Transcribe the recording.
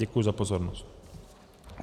Děkuji za pozornost.